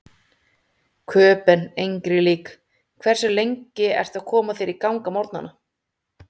Köben engri lík Hversu lengi ertu að koma þér í gang á morgnanna?